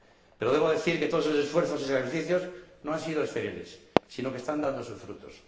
Pero debo decir que todos esos esfuerzos y sacrificios no han sido estériles, sino que están dando sus frutos.